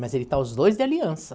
Mas ele está os dois de aliança.